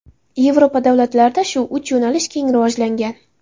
Yevropa davlatlarida shu uch yo‘nalish keng rivojlangan.